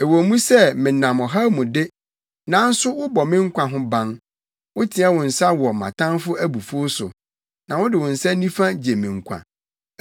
Ɛwɔ mu sɛ menam ɔhaw mu de, nanso wobɔ me nkwa ho ban; woteɛ wo nsa wɔ mʼatamfo abufuw so, na wode wo nsa nifa gye me nkwa.